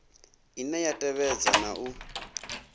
ine ya tevhedza na u